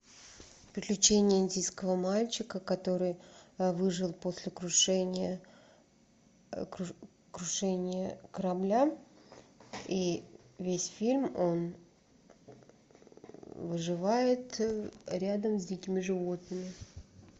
приключения индийского мальчика который выжил после крушения крушения корабля и весь фильм он выживает рядом с дикими животными